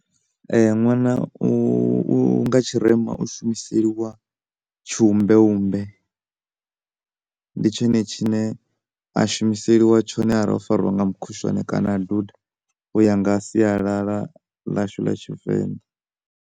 Ṅwana u, u, nga tshirema u shumeliseliwa tshiumbeumbe ndi tshone tshine a shumiseliwa tshone arali o fariwa nga mukhushwani kana duda u ya nga sialala ḽashu ḽa tshivenḓa.